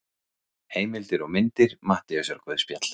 Heimildir og myndir Matteusarguðspjall.